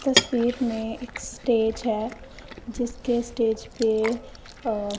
तस्वीर में एक स्टेज है जिसके स्टेज पे अह--